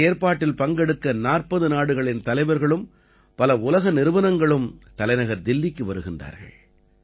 இந்த ஏற்பாட்டில் பங்கெடுக்க 40 நாடுகளின் தலைவர்களும் பல உலக நிறுவனங்களும் தலைநகர் தில்லிக்கு வருகிறார்கள்